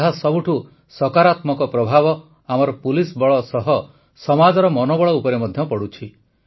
ଏହାର ସବୁଠୁ ସକାରାତ୍ମକ ପ୍ରଭାବ ଆମର ପୁଲିସ ବଳ ସହ ସମାଜର ମନୋବଳ ଉପରେ ମଧ୍ୟ ପଡ଼ୁଛି